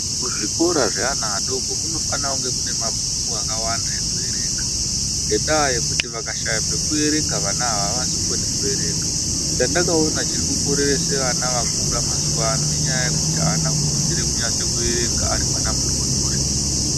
Muzvikora zveana adodori kunofana kunge kune mabhuku akawanda ekuerenga ngendaa yekuti vakashaya pekuerenga vana ava avazokoni kuerenga chandakaona chiri kukoreresa vana vakura mazuwaano inyaya yekuti aana kufundira kunyasoerenga ari mwana mudodori.